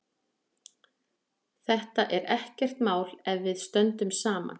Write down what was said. Þetta er ekkert mál ef við stöndum saman.